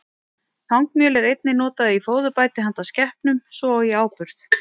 Þangmjöl er einnig notað í fóðurbæti handa skepnum, svo og í áburð.